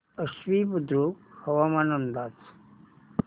आश्वी बुद्रुक हवामान अंदाज